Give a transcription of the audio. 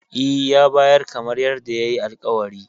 E, ya bayar kamar yadda yayi alƙawari.